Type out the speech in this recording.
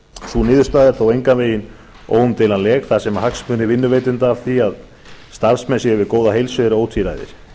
sú niðurstaða er þó engan veginn óumdeilanleg þar sem hagsmunir vinnuveitanda af því að starfsmenn séu við góða heilsu eru ótvíræðir